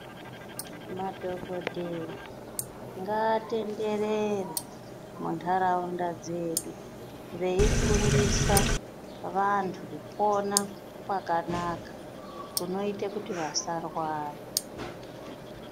Madhogodheya ngaatenderere muntaraunda dzedu veifundisa vantu kupona kwakanaka kunoite kuti vasarwara.